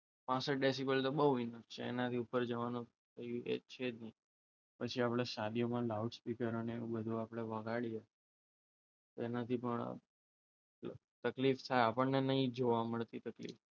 પાસઠ ડેસીબલ તો બહુ ઇનફ છે એ લોકો એનાથી ઉપર જવાનું એ છે જ નહીં પછી આપણે શાદીઓમાં સ્પીકર અને એ બધું વગાડ્યું તેનાથી પણ તકલીફ થાય આપણને નહીં જોવા મળતી તકલીફ.